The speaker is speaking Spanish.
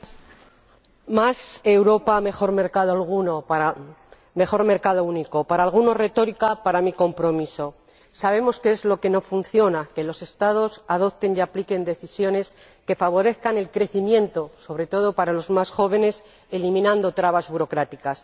Señor Presidente, más Europa, mejor mercado único. Para unos es retórica para mí, compromiso. Sabemos que es lo que no funciona. Que los Estados adopten y apliquen decisiones que favorezcan el crecimiento, sobre todo para los más jóvenes, eliminando trabas burocráticas.